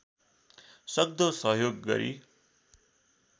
सक्दो सहयोग गरी